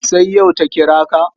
Sai yau ta kira ka?